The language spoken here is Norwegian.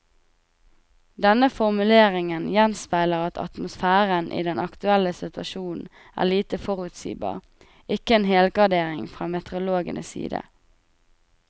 Denne formuleringen gjenspeiler at atmosfæren i den aktuelle situasjonen er lite forutsigbar, ikke en helgardering fra meteorologenes side.